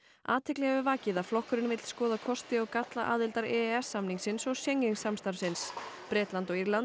athygli hefur vakið að flokkurinn vill skoða kosti og galla aðildar e e s samningsins og Schengen samstarfsins Bretland og Írland